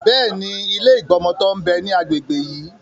Bẹ́ẹ̀ni, ilé ìgbọmọtọ́ ń bẹ ní agbègbè yí.